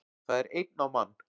Það er einn á mann